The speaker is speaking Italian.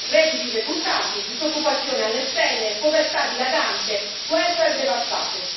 Redditi decurtati, disoccupazione alle stelle, povertà dilagante, welfare devastato.